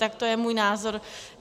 Tak to je můj názor.